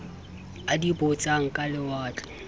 a di botsang ka lewatle